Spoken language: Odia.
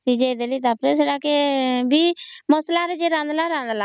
ଭିଜେଇ ଦେଲି ତା ପରେ ସେଟାକେ ଯିଏ ମସଲା ରେ ରାନ୍ଧିଲା